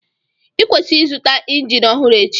Ịkwesịrị ịzụta injin ọhụrụ echi..